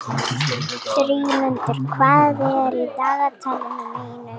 Dýrmundur, hvað er í dagatalinu mínu í dag?